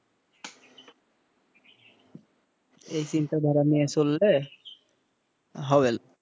এই চিন্তাধারা নিয়ে চললে হবে না,